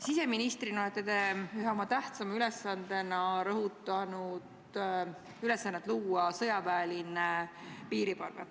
Siseministrina olete te ühe oma tähtsaima ülesandena rõhutanud ülesannet luua sõjaväeline piirivalve.